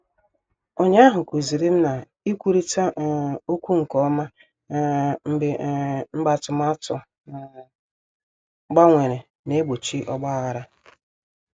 Ụnyaahụ kụzirim na-ikwurita um okwu nke ọma um mgbe um mgbe atụmatụ um gbanwere na-egbochi ogbaghara.